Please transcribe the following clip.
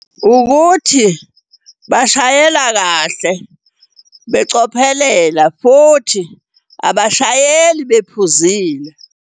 Ukuthi bashayela kahle becophelela, futhi abashayeli bephuzile.